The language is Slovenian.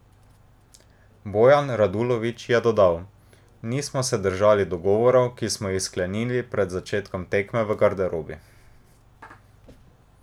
Bojan Radulović je dodal: "Nismo se držali dogovorov, ki smo jih sklenili pred začetkom tekme v garderobi.